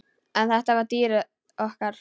En þetta var dýrið okkar.